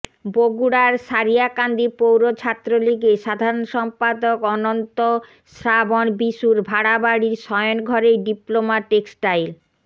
বগুড়ার সারিয়াকান্দি পৌর ছাত্রলীগের সাধারণ সম্পাদক অনন্ত শ্রাবন বিশুর ভাড়া বাড়ির শয়ন ঘরেই ডিপ্লোমা টেক্সটাইল